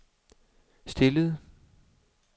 stillede